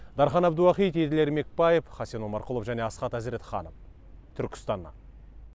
дархан әбдуахит еділ ермекбаев хасен омарқұлов және асхат әзіретханов түркістаннан